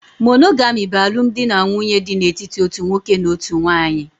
Monogami bụ alụmdi na nwunye dị n'etiti otu nwoke na otu nwanyị